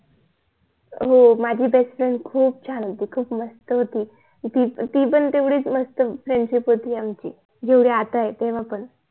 हो माझी BEST FRIEND खूप छान होती खूप मस्त होती ती पण तेवढीच मस्त FRIENDSHIP होती आमची जेवढी आता आहे तेव्हा पण